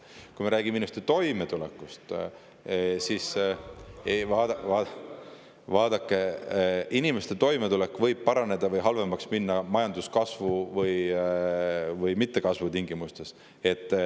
Kui me räägime inimeste toimetulekust, siis vaadake, inimeste toimetulek võib paraneda või halvemaks minna nii majanduse kasvu kui ka mittekasvu tingimustes.